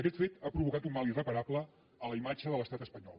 aquest fet ha provocat un mal irreparable a la imatge de l’estat espanyol